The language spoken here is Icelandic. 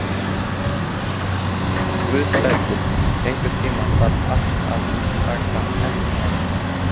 Guðbergur, einhvern tímann þarf allt að taka enda.